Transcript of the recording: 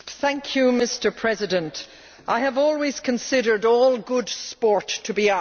Mr President, I have always considered all good sport to be art.